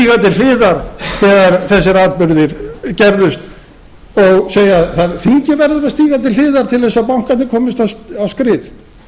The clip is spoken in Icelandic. hliðar þegar þessir atburðir gerðust og segja þingið verður að stíga til hliðar til að bankarnir komist komist á skrið